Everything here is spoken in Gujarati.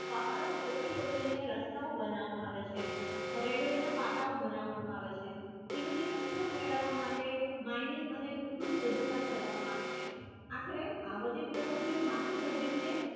પહાડી કોતરી કોતરી ને રસ્તા બનાવ આવે છે રેલવે ને કટાવ બનાવે માં આવે છે પછી ને ઘરાવા માટે mining અને ઉંધી ખોદ કામ કરવાનું આવે છે આખરે અવધિ પ્રવૃત્તિ મંદ સાધિત છે